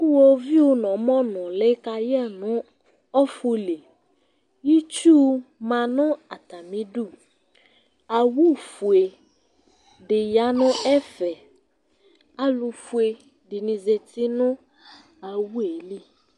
Ʋwoviʋ nʋ ɔmɔ nʋ ʋlɛ kayɛ nʋ ɔfuli Itsu ma nʋ atami idu Owu fʋe di ya nʋ ɛfɛ Alʋfʋe dìní zɛti nʋ owu ye li